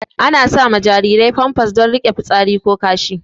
Ana sama jarirai famfas don rike fitsari ko kashi